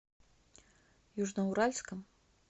южноуральском